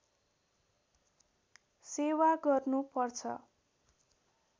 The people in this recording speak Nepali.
सेवा गर्नु पर्छ